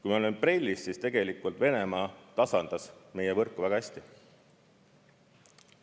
Kui me olime BRELL-is, siis tegelikult Venemaa tasandas meie võrku väga hästi.